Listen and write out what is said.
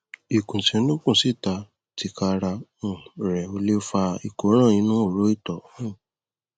ìkùnsínú kùnsíta tika ra um rẹ ò lè fa ìkóràn inú horo ìtọ um